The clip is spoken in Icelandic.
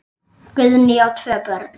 Guðný á tvö börn.